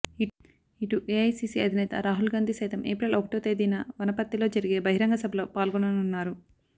ఇటు ఏఐసీసీ అధినేత రాహుల్ గాంధీ సైతం ఏప్రిల్ ఒకటో తేదీన వనపర్తిలో జరిగే బహిరంగ సభలో పాల్గొననున్నారు